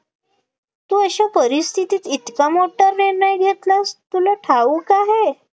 तू अशा परिस्थितीत इतका मोठा निर्णय घेतलास, तुला ठाऊक आहे,